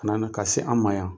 ka se an ma yan.